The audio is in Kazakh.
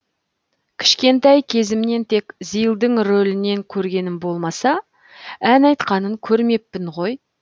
кішкентай кезімнен тек зилдың ролінен көргенім болмаса ән айтқанын көрмеппін ғой